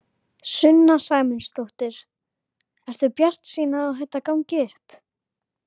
Sunna Sæmundsdóttir: Ertu bjartsýn á að þetta gangi upp?